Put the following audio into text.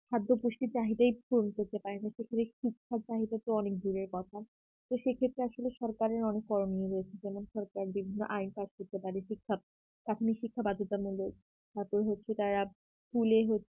খাদ্য পুষ্টির চাহিদাই পূরণ করতে পারে না সেখানে শিক্ষার চাহিদা তো অনেক দূরের কথা তো সেই ক্ষেত্রে আসলে সরকারের অনেক করণীয় রয়েছে যেমন সরকারের বিভিন্ন PhD করতে পারে ঠিকঠাক চাকরির শিক্ষা বাধ্যতামূলক তারপর হচ্ছে তারা school এ হচ্ছে